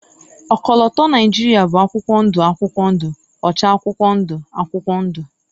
ọkọlọtọ Nigeria bụ akwụkwọ ndụ akwụkwọ ndụ, ọcha akwụkwọ ndụ akwụkwọ ndụ